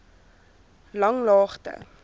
langlaagte